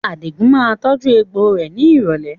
Àdigun máa tọju egbò rẹ ni ìrọ̀lẹ́